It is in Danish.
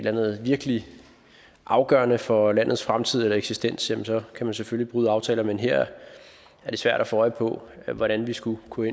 andet virkelig afgørende for landets fremtid eller eksistens kan man selvfølgelig bryde aftaler men her er det svært at få øje på hvordan vi skulle kunne